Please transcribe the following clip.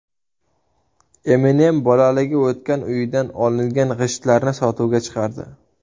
Eminem bolaligi o‘tgan uyidan olingan g‘ishtlarni sotuvga chiqardi.